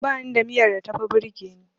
Bani da miyar da tafi burgeni.